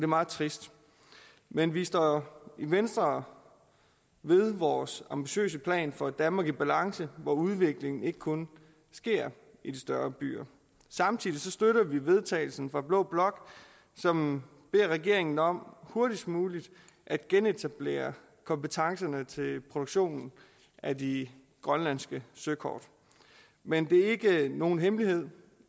meget trist men vi står i venstre ved vores ambitiøse plan for et danmark i balance hvor udviklingen ikke kun sker i de større byer samtidig støtter vi vedtagelse fra blå blok som beder regeringen om hurtigst muligt at genetablere kompetencerne til produktionen af de grønlandske søkort men det er ikke nogen hemmelighed